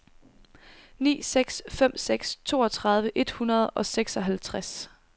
ni seks fem seks toogtredive et hundrede og seksoghalvtreds